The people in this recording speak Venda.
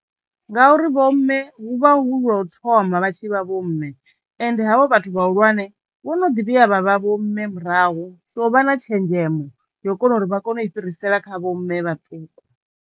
Ngauri vho mme hu vha hu lwo u thoma vha tshi vha vho mme ende havho vhathu vhahulwane vho no ḓi vhuya vha vha vho mme murahu so vha na tshenzhemo yo kona uri vha kone u i fhirisela kha vho mme vhaṱuku.